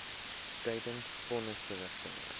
tydens von nisverrigtinge